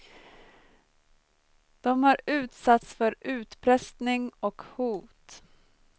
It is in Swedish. De har utsatts för utpressning och hot.